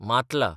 Matla